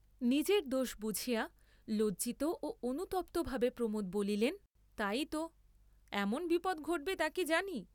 নিজের দোষ বুঝিয়া লজ্জিত ও অনুতপ্তভাবে প্রমোদ বলিলেন, তাই ত এমন বিপদ ঘটবে তাকি জানি।